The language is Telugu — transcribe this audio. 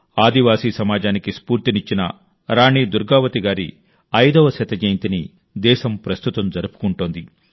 ఆదివాసీ సమాజానికి స్ఫూర్తినిచ్చిన రాణి దుర్గావతి గారి 500వ జయంతిని దేశం ప్రస్తుతం జరుపుకుంటోంది